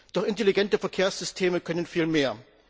Doch intelligente Verkehrssysteme können viel mehr.